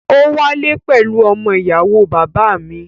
Ó wálé pẹ̀lú ọmọ ìyàwó bàbá à mi.